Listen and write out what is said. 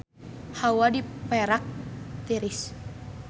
Hawa di Perak tiris